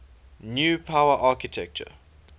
new power architecture